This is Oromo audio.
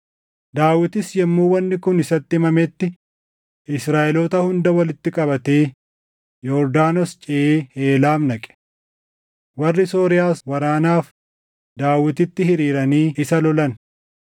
Daawitis yommuu wanni kun isatti himametti, Israaʼeloota hunda walitti qabatee Yordaanos ceʼee Heelaam dhaqe. Warri Sooriyaas waraanaaf Daawititti hiriiranii isa lolan.